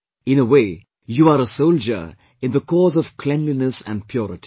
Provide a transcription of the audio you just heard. In a way you are a soldier in the cause of cleanliness and purity